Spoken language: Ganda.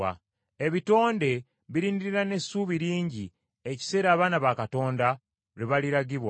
Ebitonde birindirira n’essuubi lingi ekiseera abaana ba Katonda lwe baliragibwa.